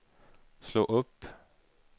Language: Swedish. slå upp